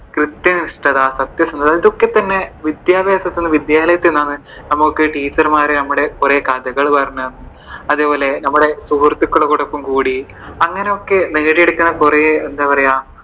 കൃത്യനിഷ്ഠത, സത്യസന്ധത ഇതൊക്കെ തന്നെ വിദ്യാഭ്യാസം തരുന്ന വിദ്യാലയത്തിൽ നിന്നാണ് നമുക്ക് Teacher മാർ കുറെ കഥകൾ പറഞ്ഞുതരുന്നത്. അതേപോലെ തന്നെ നമ്മൾ സുഹൃത്തുക്കളോടൊപ്പം കൂടി അങ്ങനെയൊക്കെ നേടിയെടുക്കുന്ന കുറെ എന്താ പറയുവാ